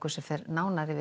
fer nánar yfir